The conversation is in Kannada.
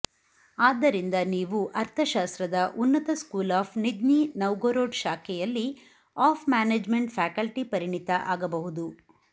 ಆದ್ದರಿಂದ ನೀವು ಅರ್ಥಶಾಸ್ತ್ರದ ಉನ್ನತ ಸ್ಕೂಲ್ ಆಫ್ ನಿಜ್ನಿ ನವ್ಗೊರೊಡ್ ಶಾಖೆಯಲ್ಲಿ ಆಫ್ ಮ್ಯಾನೇಜ್ಮೆಂಟ್ ಫ್ಯಾಕಲ್ಟಿ ಪರಿಣಿತ ಆಗಬಹುದು